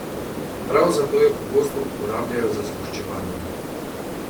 Prav zato jo pogosto uporabljajo za zgoščevanje.